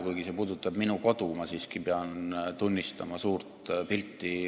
Kuigi see puudutab minu kodu, ma siiski pean tunnistama suurt pilti.